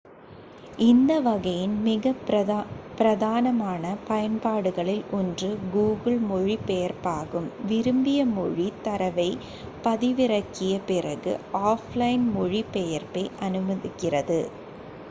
இந்த வகையின் மிக பிரதானமான பயன்பாடுகளில் ஒன்று google மொழிபெயர்ப்பாகும் விரும்பிய மொழித் தரவைப் பதிவிறக்கிய பிறகு ஆஃப்லைன் மொழிபெயர்ப்பை அனுமதிக்கிறது